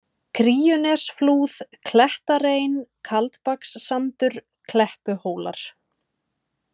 Kríunesflúð, Klettarein, Kaldbakssandur, Kleppuhólar